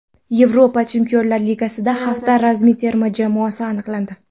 Yevropa Chempionlar Ligasida hafta ramziy terma jamoasi aniqlandi.